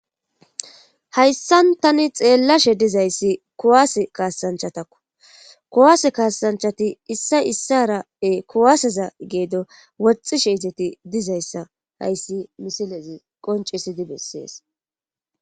hayssan tani xeellashe dizayssi kuwaase kaasanchatakku kuwaase kaasanchati issa issarappe kuwaaseza geedo woxxishe eteti dizayssa hayssi misilezi qoncisidi bessees